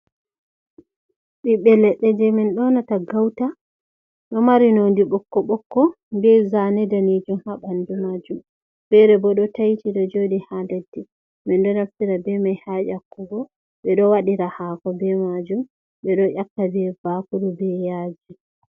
Biɓɓe leɗɗe jei min donata gauta do mari nodi ɓokko ɓokko be Zane danijum habandu majum fere bo do taiti do jodi ha leddi min do naftira be mai ha nyakkugo ɓe ɗo wadira hako be majum be do ƴaka be bakuru be yaji.